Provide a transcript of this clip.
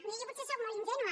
miri jo potser sóc molt ingènua